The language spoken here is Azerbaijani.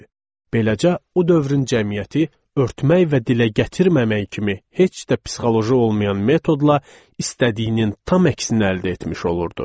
Beləcə, o dövrün cəmiyyəti örtmək və dilə gətirməmək kimi heç də psixoloji olmayan metodla istədiyinin tam əksinə əldə etmiş olurdu.